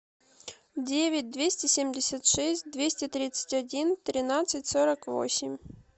девять двести семьдесят шесть двести тридцать один тринадцать сорок восемь